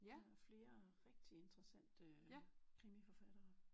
Der er flere rigtig interessante krimiforfattere